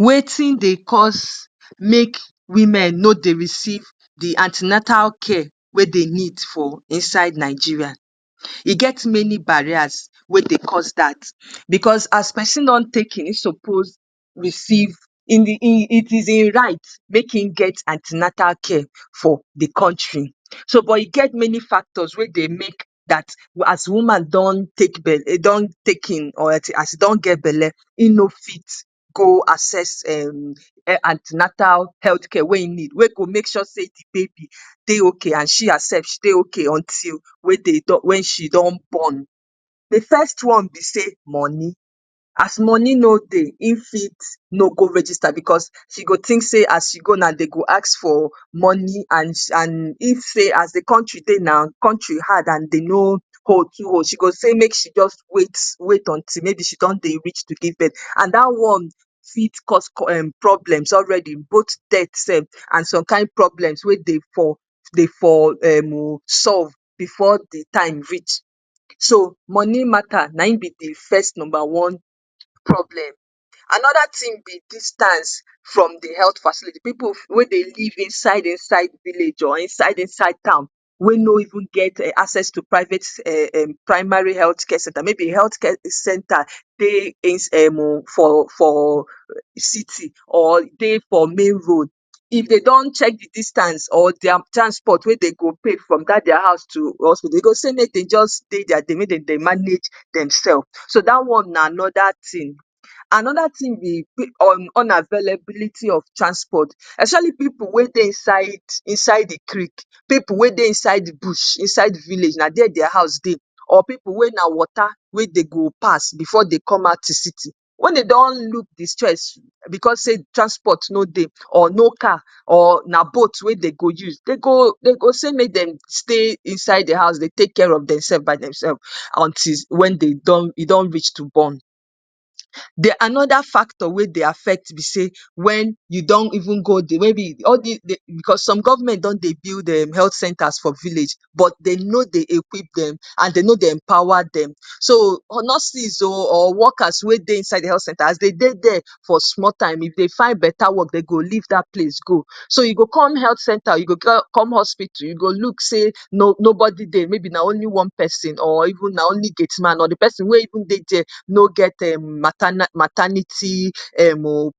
‎wetin dey cause make women no dey receive di antinatal care wey dey need for inside nigeria e get many bareers wey dey cause dat becos as pesin don take im suppose receive itize righte make him get antinatal care for di country soget many factors wey dey make dat as woman don take bert don take hin oreti as e don get belle e no fit go acess antinata health care wen e need wen go make sure say de baby dey ok and she herself she dey ok wem she doon born. de foirst one be say moni, as moni no de, e fit no go register becos she go tink say aas e go now dem go ask for moni an an im say as de contri dey now contri hard an dem no hold she go say make she just wait mayb until she don dey reach to give birth an da one fit cos um problems already both death sef an some kin problemss we dey for dey for um solve bfore de time reach so moni matter anim b de first number one problem, anoda tin b distance from de heaalth facility pipu wen dey live inside inside village or inside inside town wen no even get acess to private um um primary health center maybe health care center dey inside um for for city or dey for main road if dey don check de distance or their transport wwe dey go pay from dat their house to hospital dey go saay make dey jus dey their dey make den dey manage demself so da onw na anoda tin anoda tin be un unavelebility of transport especialy pipu wen dey inside inside de creek pipu we dey inside bush inside village na there their house dey or pipu wen na water we dey go pass before dey come out to city wen dey don look de stress bcos say transport no dey or no car or na boat we dey go use dey go say make dem stay inside their house dee take care of dem self by dem self umtil wem dem don e don reach to born anoda factor wen dey affect be say wen u don even go the maybe bicos spme govment don dey build um health centeers for village but dey no dewe equip dem and dey no dey empower dem so nurses o or workers we dey inside de health center as dem dey there for small time if dey find better work dey go leave dat place go so u go comee healt center u go go come hospitu u go look say nobody dey maybe na only one person or na only gateman or the person wen even dey there no get matana um maternity um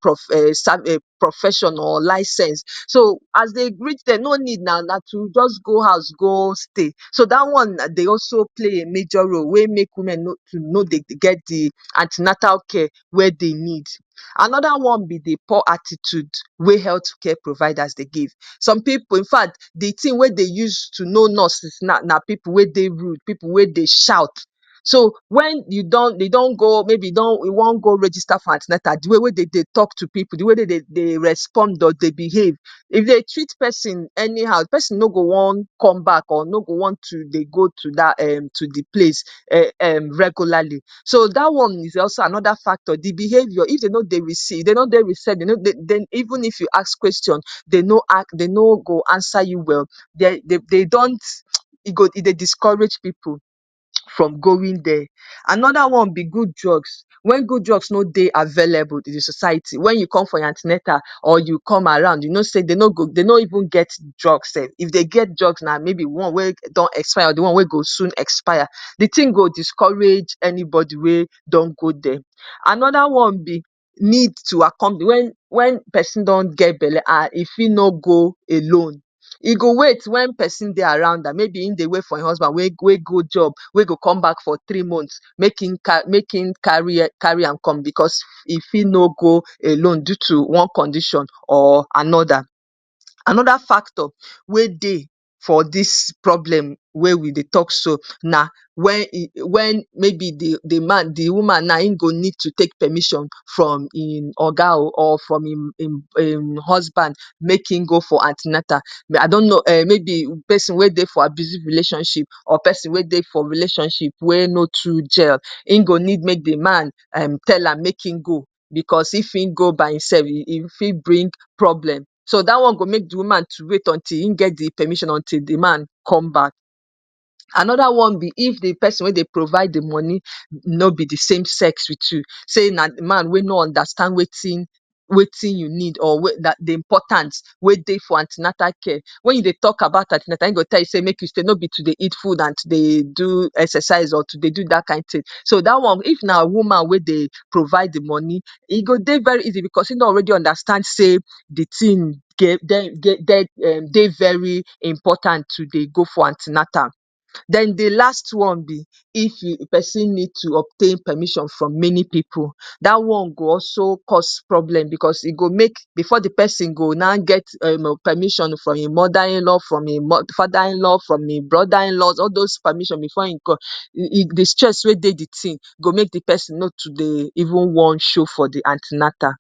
san um profession or license so as dey reach there no need na na to jus go house go stay da one dey also play a majpr role we make women no too no dey get de antinatal care wen dey need anoda one be de poor attitude we health care providers dey give some pipu infact the tin wen dee use to knoe nurses now na pipu we dey rude pipu we dey shout so wgen u do go maybe u don u wan go register for antinatal de way we dey de tok to pipu de way wey dey de respond or behave if dey treat person anyhow de person no go wan come back no go wan to dee go to dat um to dat um to de place regularly so dat one is jalso anoda factor, de behaviour if dey no dey reci dey no dey recie even if u ask question dey no go answer u well dey de dont e dey discourage pipu from going there anoda one be good drugs wen good drugs no dey available to de society wen y come forr your antinetal or u come around uu no say dey no go dey no even get drugs sef if dey get drugs maybe na dey one wwe don expire or maybe de one wen go soon expire de tin go discourage anybody wey don go there, anoda one br need to accomp wen wen person ddon get belle um e fi no go alone e go wait wen person dey around am maybe w go wait for e husband wen go job wen go come back for tree months make him carry am come bcos e fi no go alone due to one ccondition or anoda. anoda factor we dey forr dis problem wen we dey tok so na wen mayb de woman naim go need to take permission from em oga o or from im husband make him go for antinata i don no or maybe person wen dey for abusive relationship orr person wen dey for jrelationship wen no too gel in go need make de man tell am make im go bcos if im go by e sef e fit bring problem so da one go make de woman to wait until e get de permissioon until de man come back. anoda one be if de person wen dey provide de moni nobe de same sex wit u man wen no understand wetin u need or wee dey important we dey for antinatal care wen u dey tok about antinatal in go say no be to dey eat food and to dey do exercise or to dey do dat kind tin, so dat one if na woman we dey provide de moni e go dey very easy bcos in don already understand say de tin ge dey ge um dey very important to dey go for antinatal den dey last one b if person need to obtain permission from many pipu da one go also cos problem bcos e go make bfore de person go now get um permission from e mother inlaw from e mod father inlaw from e broda inlaw all those permission bfore in co de stress wen dey de ting de person no wan sho for de antinatal